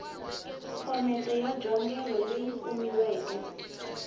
phomete ya njhongelo leyi kumiweke